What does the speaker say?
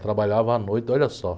Trabalhava à noite, olha só.